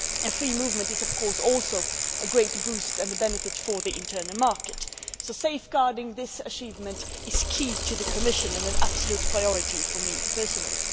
Free movement is also a great boost and a benefit for the Internal Market, so safeguarding this achievement is key to the Commission and an absolute priority for me personally.